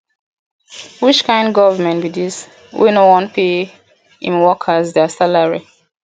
which kin government be dis wey no wan pay im workers their salary